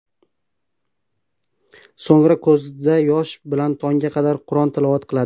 So‘ngra ko‘zida yosh bilan tongga qadar Qur’on tilovat qiladi.